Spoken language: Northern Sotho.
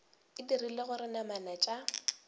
e dira gore namana tša